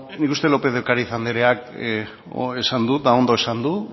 bueno nik uste lópez de ocariz andreak esan du eta ondo esan du